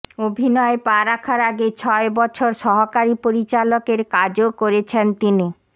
অভিনয়ে পা রাখার আগে ছয় বছর সহকারী পরিচালকের কাজও করেছেন তিনি